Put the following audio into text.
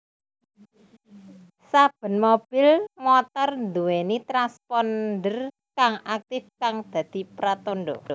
Saben mobil/motor nduwèni transponder kang aktif kang dadi pratandha